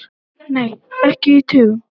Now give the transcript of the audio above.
Nei, ekki í tugum.